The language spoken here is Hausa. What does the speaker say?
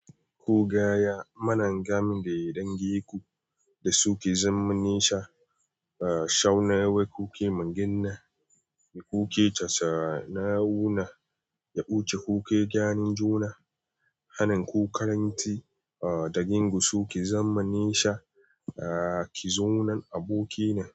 Ko gaya mana game da ya danginku da suke zamani sha, shauna wai kuke magina, kuke casana wuna, ya buce kuke gyaran juna, hanan ku karanti da gingu su ke zamanin sha, ki zo nan aboki na.